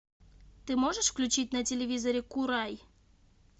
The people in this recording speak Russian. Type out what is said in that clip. ты можешь включить на телевизоре курай